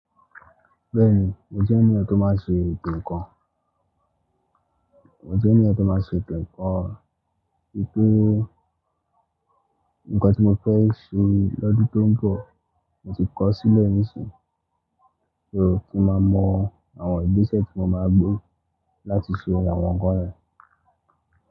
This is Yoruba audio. Bẹ́ẹ̀ni, mo jẹ́ ènìyàn tó máa n ṣe eto nnkan. Mo jẹ́ ènìyàn tó máa ṣe ètò nǹkan wípé nǹkan tí mo fẹ́ ṣe lọ́dún tó ń bọ̀, mo ti kọ sílẹ̀ níìsín, so, kí n máa mọ àwọn ìgbésẹ̀ tí mo máa gbé láti ṣe àwọn nǹkan yẹn.